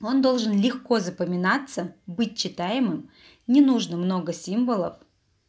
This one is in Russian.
он должен легко запоминается быть читаемым не нужно много символов